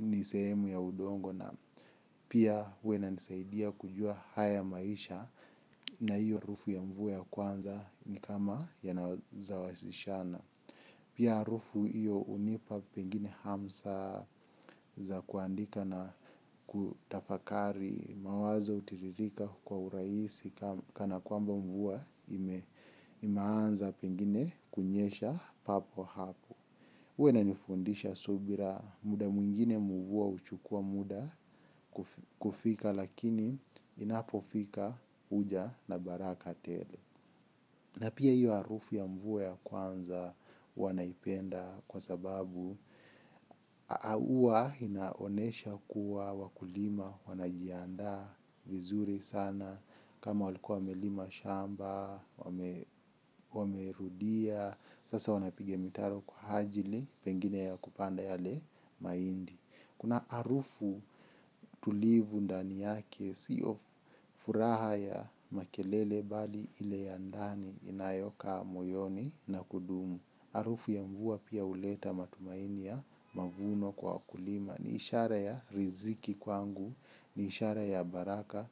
ni sehemu ya udongo. Na pia huwa inanisaidia kujua haya maisha na hiyo harufu ya mvua ya kwanza ni kama yanasawazishana. Pia harufu hiyo hunipa pengine hamsa za kuandika na kutafakari mawazo hutiririka hukua urahisi kana kwamba mvua imeanza pengine kunyesha papo hapo. Huwa inanifundisha subira muda mwingine mvua huchukua muda kufika lakini inapofika huja na baraka tele. Na pia hio harufu ya mvua ya kwanza huwa naipenda kwa sababu inaonyesha kuwa wakulima wanajiandaa vizuri sana. Kama walikuwa wamelima shamba, wamerudia, sasa wanapiga mitaro kwa ajili pengine ya kupanda yale mahindi. Kuna harufu tulivu ndani yake sio furaha ya makelele bali ile ya ndani inayokaa moyoni na kudumu. Harufu ya mvua pia huleta matumaini ya mavuno kwa wakulima ni ishara ya riziki kwangu, ni ishara ya baraka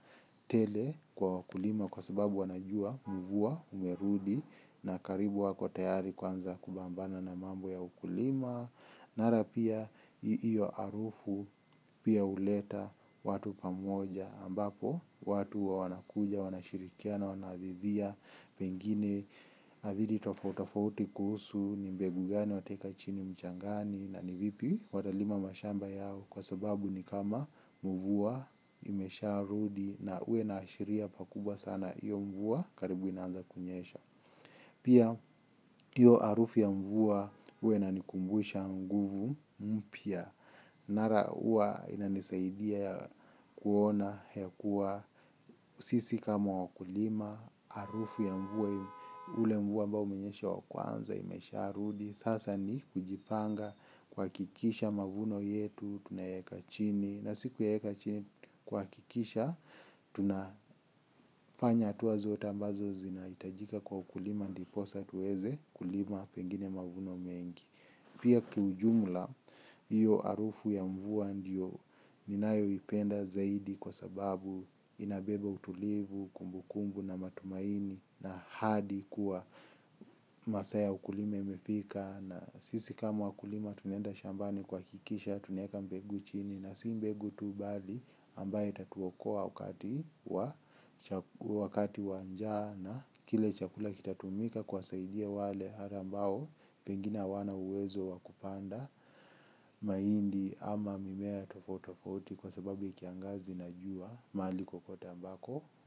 tele kwa wakulima kwa sababu wanajua mvua imerudi na karibu wako tayari kuanza kupambana na mambo ya ukulima. Nara pia iyo harufu pia huleta watu pamoja ambapo watu huwa wanakuja, wanashirikiana wanadhidhia, pengine hadithi tofauti tofauti kuhusu ni mbegu gani wataeka chini mchangani na ni vipi watalima mashamba yao kwa sababu ni kama mvua isharudi na huwa inaashiria pakubwa sana hio mvua karibu inaanza kunyesha. Pia hio harufu ya mvua huwa inanikumbusha nguvu pia. Nara huwa inanisaidia kuona kuwa sisi kama wakulima. Harufu ya mvua ule mvua ambao umenyesha wa kwanza imesharudi. Sasa ni kujipanga kuhakikisha mavuno yetu, tunayaeka chini. Na si kuyaeka chini kuhakikisha, tunafanya hatua zote ambazo zinahitajika kwa ukulima ndiposa tuweze kulima pengine mavuno mengi. Pia kiujumla, hiyo harufu ya mvua ndio ninayoipenda zaidi kwa sababu inabeba utulivu, kumbu kumbu na matumaini na hadi kuwa masaa ya ukulima imefika na sisi kama wakulima tunaenda shambani kuhakikisha tunaeka mbegu chini na si mbegu tu bali ambaye itatuokoa wakati wa wakati wa njaa na kile chakula kitatumika kuwasaidia wale ambao pengine hawana uwezo wa kupanda mahindi ama mimea tofauti tofauti kwa sababu ya kiangazi na jua maliko kokote ambako.